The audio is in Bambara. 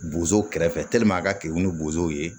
Bozow kɛrɛfɛ a ka kenike ni bozow ye